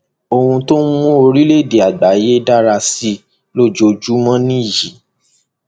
ohun tó ń mú orílẹèdè àgbáyé dára sí i lójoojúmọ nìyí